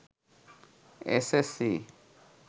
SSC